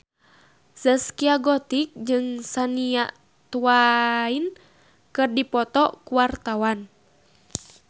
Zaskia Gotik jeung Shania Twain keur dipoto ku wartawan